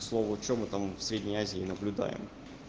к слову что мы там в средней азии наблюдаем